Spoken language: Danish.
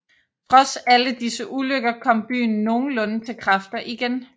Trods alle disse ulykker kom byen nogenlunde til kræfter igen